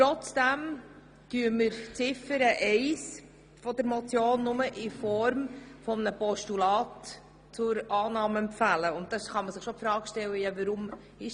Trotzdem empfehlen wir Ziffer 1 der Motion nur zur Annahme als Postulat.